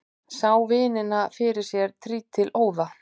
Sá vinina fyrir sér trítilóða.